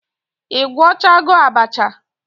I gwochago abacha?